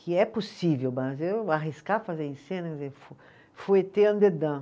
que é possível, mas eu arriscar fazer em cena,